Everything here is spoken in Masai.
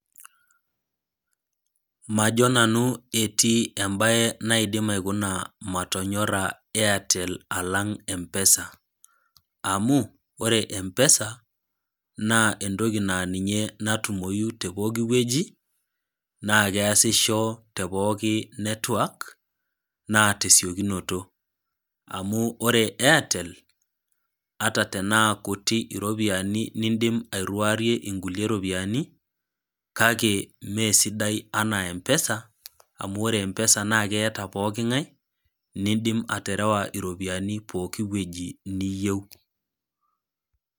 Majo nanu etii embae naidim aikuna matonyora Airtel alang' empesa, amu ore empesa, naa entoki naa ninye natumoyu te pooki wueji, naa keasisho te pooki network, naa tesiokinoto. Amu ore Airtel, ataa tanaa nabo kutik iropiani niindim airuarie inkulie rupiani, kake mee sidai anaa empesa, amu ore empesa naa keata pooking'ai, nindim aterewa iropiani pooki wueji niyiou.